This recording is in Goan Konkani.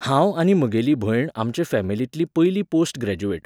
हांव आनी म्हगेली भयण आमचे फॅमिलींतलीं पयलीं पोस्ट ग्रॅज्युएट